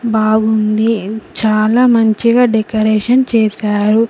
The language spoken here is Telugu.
బాగుంది ఉ చాలా మంచిగా డెకరేషన్ చేశారు.